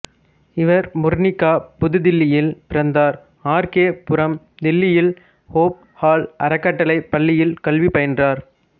இவர் முனிர்கா புது தில்லியில் பிறந்தார் ஆர் கே புரம் தில்லியில் ஹோப் ஹால் அறக்கட்டளைப் பள்ளியில் கல்வி பயின்றார்